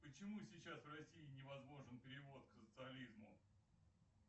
почему сейчас в россии невозможен перевод к социализму